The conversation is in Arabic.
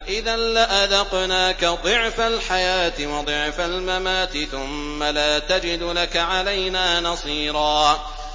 إِذًا لَّأَذَقْنَاكَ ضِعْفَ الْحَيَاةِ وَضِعْفَ الْمَمَاتِ ثُمَّ لَا تَجِدُ لَكَ عَلَيْنَا نَصِيرًا